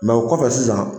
Mɛ o kɔfɛ sisan